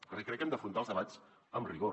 també crec que hem d’afrontar els debats amb rigor